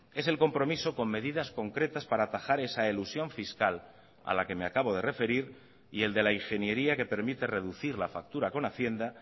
es el compromiso con medidas concretas para atajar esa elusión fiscal a la que me acabo de referir y el de la ingeniería que permite reducir la factura con hacienda